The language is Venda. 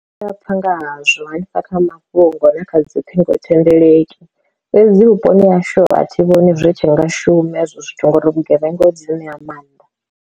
Ndi a pfha ngahazwo hanefha kha mafhungo na kha dzi ṱhingo thendeleki, fhedzi vhuponi hashu a thi vhoni zwi tshi nga shume hezwo zwithu ngori vhugevhenga ho dzi ṋea maanḓa.